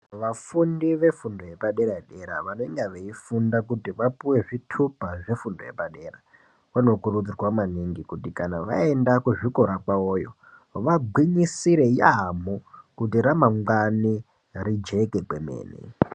Vafundi vefundi yepadera-dera vanenge veifunda kuti vapuwe zvitupa zvefundo yepadera zvinokuridzirwa maningi kuti kana vaenda kuzvikora kwavoyo vagwinyisire yaambho kuti ramangwani rijeke kwemene.